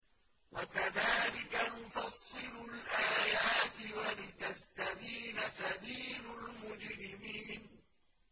وَكَذَٰلِكَ نُفَصِّلُ الْآيَاتِ وَلِتَسْتَبِينَ سَبِيلُ الْمُجْرِمِينَ